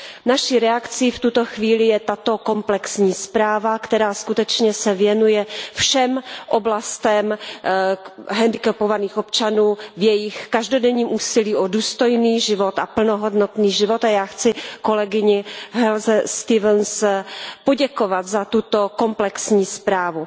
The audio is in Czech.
Naší reakcí v tuto chvíli je tato komplexní zpráva, která skutečně se věnuje všem oblastem hendikepovaných občanů v jejich každodenním úsilí o důstojný život a plnohodnotný život a já chci kolegyni Helze Stevensové poděkovat za tuto komplexní zprávu.